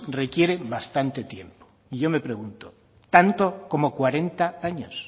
requiere bastante tiempo y yo me pregunto tanto como cuarenta años